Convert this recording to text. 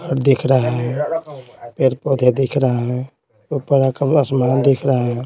दिख रहा है पेड़ पौधे दिख रहा है ऊपर आसमान दिख रहा है।